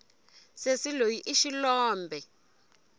sesi loyi i xilombe